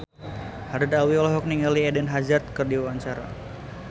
Haddad Alwi olohok ningali Eden Hazard keur diwawancara